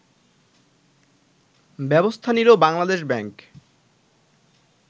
ব্যবস্থা নিল বাংলাদেশ ব্যাংক